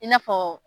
I n'a fɔ